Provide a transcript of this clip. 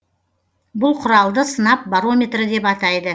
бұл құралды сынап барометрі деп атайды